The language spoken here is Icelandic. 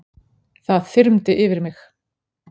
Það þyrmdi yfir mig.